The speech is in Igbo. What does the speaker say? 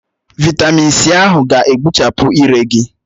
Vị́tamị́n c ahụ ga-agbuchapụ ire gị